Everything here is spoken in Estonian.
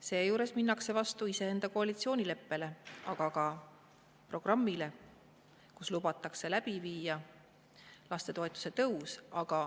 Seejuures minnakse vastu iseenda koalitsioonileppega, aga ka programmiga, kus lubatakse läbi viia lastetoetuse tõus.